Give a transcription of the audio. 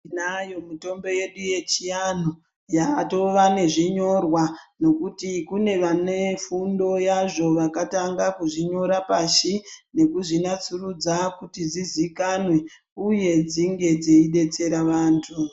Tinayo mitombo yedu yechiantu yatonezvinyorwa nekuti kune vane fundo yazvo vakatanga kuzvinyora pashi nekuzvinasurudza kuti zvizikanwe uye dzinge dzeidetsera vantu.